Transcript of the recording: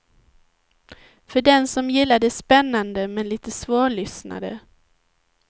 För den som gillar det spännande men lite svårlyssnade.